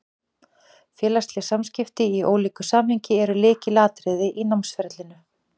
Félagsleg samskipti, í ólíku samhengi, eru lykilatriði í námsferlinu.